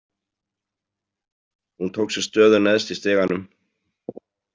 Hún tók sér stöðu neðst í stiganum.